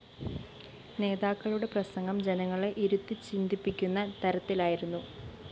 നേതാക്കളുടെ പ്രസംഗം ജനങ്ങളെ ഇരുത്തിച്ചിന്തിപ്പിക്കുന്ന തരത്തിലായിരുന്നു